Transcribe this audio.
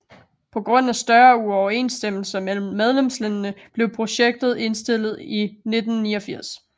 På grund af større uoverensstemmelser mellem medlemslandende blev projektet indstillet i 1989